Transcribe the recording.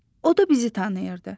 O da bizi tanıyırdı.